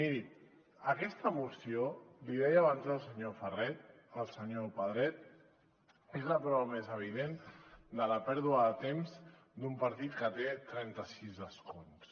miri aquesta moció l’hi deia abans el senyor pedret és la prova més evident de la pèrdua de temps d’un partit que té trenta sis escons